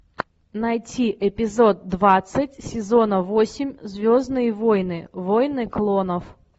найти эпизод двадцать сезона восемь звездные войны войны клонов